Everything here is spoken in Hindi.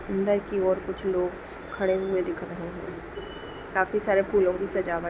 अंदर की और कुछ लोग खड़े हुए दिख रहे है| काफी सारे फूलों की सजावट--